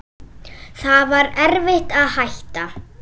Það var erfitt að hætta.